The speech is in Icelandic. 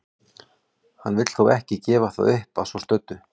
Hann vill þó ekki gefa það upp að svo stöddu.